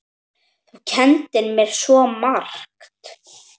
Þú kenndir mér svo margt.